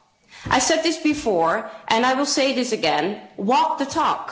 I have said this before and I will say this again walk the talk.